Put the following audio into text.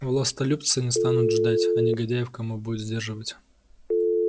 властолюбцы не станут ждать а негодяев кому будет сдерживать